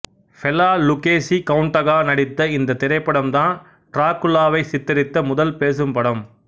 Bela Lugosi கௌண்டாக நடித்த இந்தத் திரைப்படம்தான் டிராகுலாவைச் சித்தரித்த முதல் பேசும் படம்